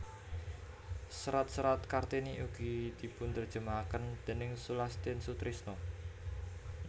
Serat serat Kartini ugi dipunterjemahaken déning Sulastin Sutrisno